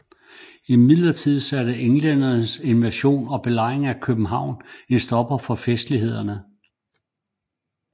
Imidlertid satte englændernes invasion og belejring af København en stopper for festlighederne